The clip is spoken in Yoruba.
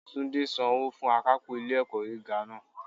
Túndé san owó fún akápò ilé ẹ̀kọ́ gíga náà